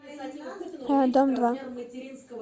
дом два